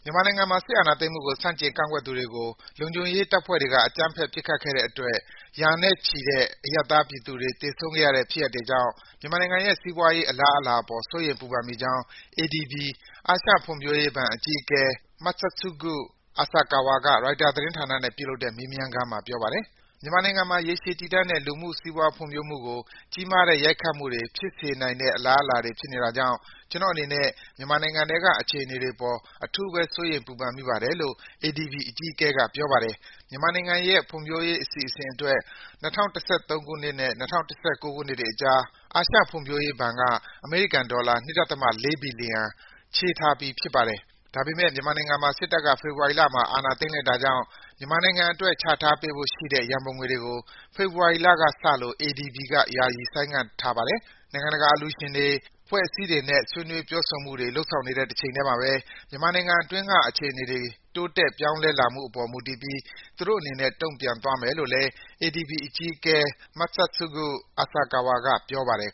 မြန်မာနိုင်ငံမှာ စစ်အာဏာသိမ်းမှုကို ဆန့်ကျင် ကန့်ကွက်ကြသူတွေကို လုံခြုံရေးတပ်ဖွဲ့တွေက အကြမ်းဖက် ပစ်ခတ်တဲ့အတွက် ရာနဲ့ချီတဲ့ အရပ်သားပြည်သူတွေ သေဆုံးခဲ့ရတဲ့ဖြစ်ရပ်တွေကြောင့် မြန်မာနိုင်ငံရဲ့ စီးပွားရေး အလားအလာအပေါ် စိုးရိမ် ပူပန်မိကြောင်း ADB အာရှဖွံ့ဖြိုးရေးဘဏ်အကြီးအကဲ Masatsugu Asakawa က ရိုက်တာသတင်းဌာနနဲ့ ပြုလုပ်တဲ့ မေးမြန်းခန်းမှာ ပြောပါတယ်။ “မြန်မာနိုင်ငံမှာ ရေရှည်တည်တံ့တဲ့ လူမှုစီးပွား ဖွံ့ဖြိုးမှုကို ကြီးမားတဲ့ ရိုက်ခတ်မှုတွေ ဖြစ်စေနိုင်တဲ့အလားအလာတွေ ဖြစ်နေတာကြောင့် ကျနော့်အနေနဲ့ မြန်မာနိုင်ငံထဲက အခြေအနေတွေအပေါ် အထူးပဲ စိုးရိမ် ပူပန်မိပါတယ်။” လို့ ADB အကြီးအကဲက ပြောပါတယ်။ မြန်မာနိုင်ငံရဲ့ ဖွံ့ဖြိုးရေးအစီအစဉ်တွေအတွက် ၂၀၁၃ ခုနှစ်နဲ့ ၂၀၁၉ ခုနှစ်တွေအကြား အာရှဖွံ့ဖြိုးရေးဘဏ်က အမေရိကန်ဒေါ်လာ ၂.၄ ဘီလီယံ ချေးထားပေးပြီး ဖြစ်ပါတယ်။ ဒါပေမဲ့ စစ်တပ်က ဖေဖော်ဝါရီလမှာ အာဏာသိမ်းလိုက်တာကြောင့် မြန်မာနိုင်ငံအတွက် ချထားပေးဖို့ရှိတဲ့ ရန်ပုံငွေတွေကို ဖေဖော်ဝါရီလကစလို့ ADB က ယာယီ ဆိုင်းငံ့ထားလိုက်ပါတယ်။ နိုင်ငံတကာက အလှူရှင်တွေ၊ အဖွဲ့အစည်းတွေနဲ့ ဆွေးနွေး ပြောဆိုမှုတွေ လုပ်ဆောင်နေတဲ့ တချိန်ထဲမှာပဲ မြန်မာနိုင်ငံတွင်းက အခြေအနေတွေ တိုးတက်ပြောင်းလဲလာမှုအပေါ် မူတည်ပြီး သူတို့အနေနဲ့ တုံ့ပြန်သွားမယ်လို့လည်း ADB အကြီးအကဲ Masatsugu Asakawa က ပြောပါတယ်